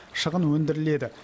шығын өндіріледі